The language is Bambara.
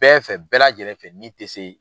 Bɛɛ fɛ bɛɛ lajɛlen fɛ n'i tɛ se.